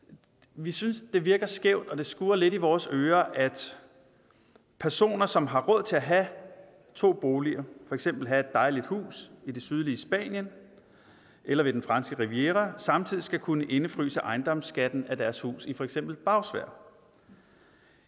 vi synes det virker skævt og det skurrer lidt i vores ører at personer som har råd til at have to boliger for eksempel have et dejligt hus i det sydlige spanien eller ved den franske riviera samtidig skal kunne indefryse ejendomsskatten af deres hus i for eksempel bagsværd